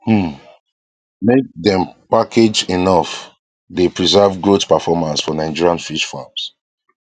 um make dem package enough dey preserve growth performance for nigerian fish farms